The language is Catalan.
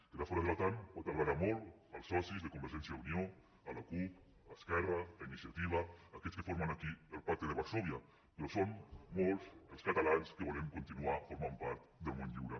quedar fora de l’otan pot agradar molt als socis de convergència i unió a la cup a esquerra a iniciativa a aquests que formen aquí el pacte de varsòvia però són molts els catalans que volem continuar formant part del món lliure